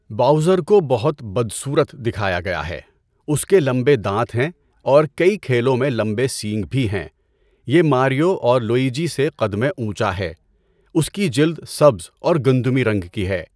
Bowser کو بہت بدصورت دکھایا گیا ہے۔ اس کے لمبے دانت ہیں اور کئی کھیلوں میں لمبے سینگ بھی ہیں۔ یہ ماریو اور لویجی سے قد میں اونچا ہے۔ اس کی جلد سبز اور گندمی رنگ کی ہے۔